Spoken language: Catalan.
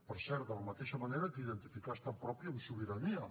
per cert de la mateixa manera que identificar estat propi amb sobirania